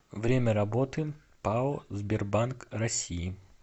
время работы пао сбербанк россии